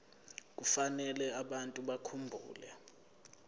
kufanele abantu bakhumbule